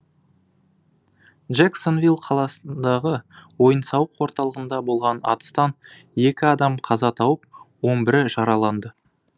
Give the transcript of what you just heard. джексонвилл қаласындағы ойын сауық орталығында болған атыстан екі адам қаза тауып он бірі жараланды